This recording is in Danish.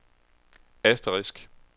asterisk